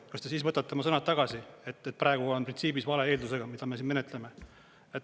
Kas te siis võtate oma sõnad tagasi, et praegu on printsiibis vale eeldusega, mida me siin menetleme?